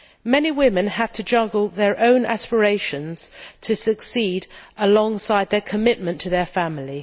Many women have to juggle their own aspirations to succeed alongside their commitment to their family.